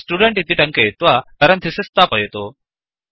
student इति टङ्कयित्वा parenthesis स्थापयतु